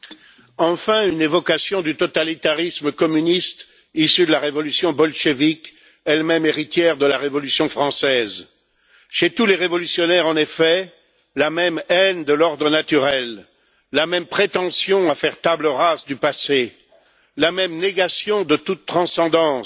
Monsieur le Président, enfin une évocation du totalitarisme communiste issu de la révolution bolchévique, elle même héritière de la Révolution française. Chez tous les révolutionnaires, on observe en effet la même haine de l'ordre naturel, la même prétention à faire table rase du passé, la même négation de toute transcendance,